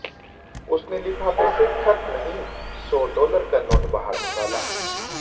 उसने लिफाफे से खत नहीं सौ डालर का नोट बाहर निकाला